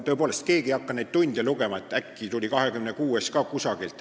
Tõepoolest, keegi ei hakka neid tunde lugema, et äkki tuli 26. tund ka kuidagi.